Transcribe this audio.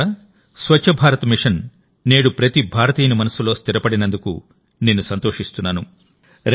మిత్రులారా స్వచ్ఛ భారత్ మిషన్ నేడు ప్రతి భారతీయుని మనస్సులో స్థిరపడినందుకునేను సంతోషిస్తున్నాను